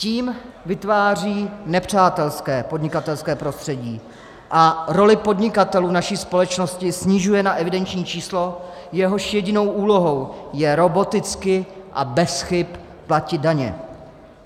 Tím vytváří nepřátelské podnikatelské prostředí a roli podnikatelů v naší společnosti snižuje na evidenční číslo, jehož jedinou úlohou je roboticky a bez chyb platit daně.